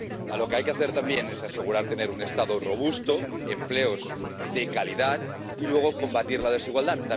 Lo que hay que hacer también es asegurar un Estado robusto, empleos de calidad y combatir la desigualdad